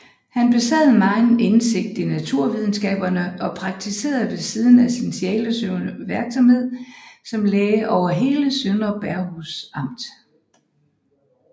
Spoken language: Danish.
Han besad megen indsigt i naturvidenskaberne og praktiserede ved siden af sin sjælesørgervirksomhed som læge over hele Søndre Bergenhus Amt